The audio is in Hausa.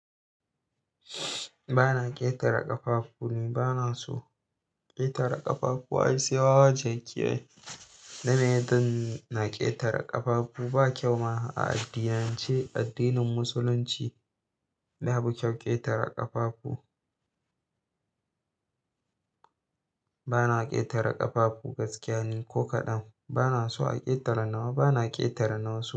Ba na ƙetare ƙafafu ni, bana so ƙetare ƙafafu. Wai sai wawa jaki ai, na meye zan na ƙetare ƙafafu. Ba kyau ma a addinance. Addinin Musulunci, babu kyau ƙetare ƙafafu. Ba na ƙetare ƙafafu gaskiya ne ko kaɗan. Ba na so a ƙetare nawa, ba na ƙetare nawa su.